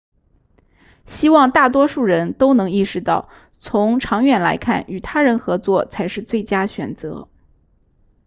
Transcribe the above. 希望大多数人都能意识到从长远来看与他人合作才是最佳选择